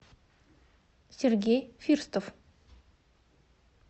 сергей фирстов